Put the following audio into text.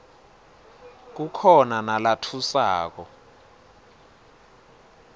kukhona nalatfusako